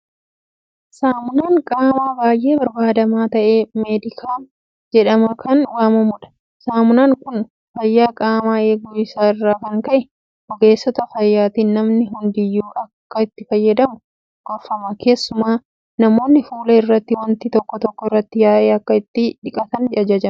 Saamunaan qaamaa baay'ee barbaadamaa ta'e meedikaam jedhamee kan waamamudha. Saamunaan kun fayyaa qaamaa eeguu isaa irraa kan ka'e ogeessota fayyaatiin namni hundiyyuu akka itti fayyadamu gorfama. Keessumaa namoonni fuula irratti waanti tokko tokko irratti yaa'e akka ittiin dhiqatan jajjabeeffama.